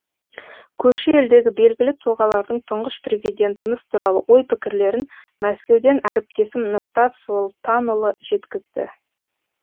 көрші елдегі белгілі тұлғалардың тұңғыш президентіміз туралы ой пікірлерін мәскеуден әріптесім нұртас солтанұлы жеткізді